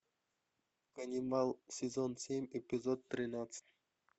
каннибал сезон семь эпизод тринадцать